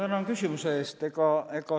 Ma tänan küsimuse eest!